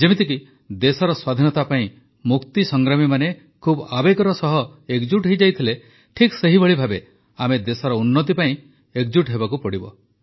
ଯେମିତିକି ଦେଶର ସ୍ୱାଧୀନତା ପାଇଁ ମୁକ୍ତିସଂଗ୍ରାମୀମାନେ ଖୁବ୍ ଆବେଗର ସହ ଏକଜୁଟ ହୋଇଯାଇଥିଲେ ଠିକ ସେହିଭଳି ଭାବେ ଆମେ ଦେଶର ଉନ୍ନତି ପାଇଁ ଏକଜୁଟ ହେବାକୁ ପଡ଼ିବ